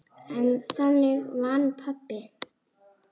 En þannig vann pabbi.